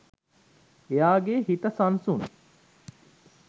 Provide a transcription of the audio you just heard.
එයාගේ හිත සංසුන්